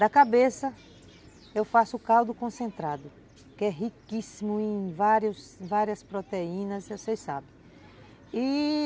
Da cabeça, eu faço caldo concentrado, que é riquíssimo em várias várias proteínas, vocês sabem, e